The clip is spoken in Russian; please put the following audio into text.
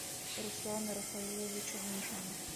руслана рафаиловича мишина